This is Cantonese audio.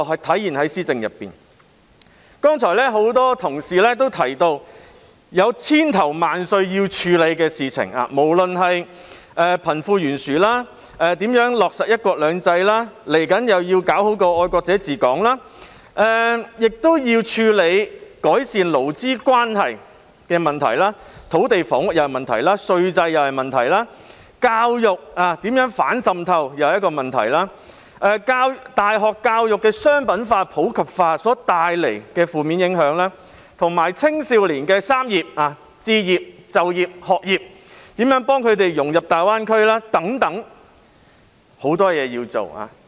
剛才很多同事提到需要處理的事情千頭萬緒：貧富懸殊，如何落實"一國兩制"，未來需要做到的愛國者治港，改善勞資關係問題、土地房屋問題、稅制問題，如何進行反滲透教育，大學教育商品化、普及化所帶來的負面影響，青少年的"三業"問題：置業、就業、學業，以及如何幫助他們融入大灣區等。